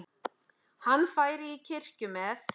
Hann færi í kirkju með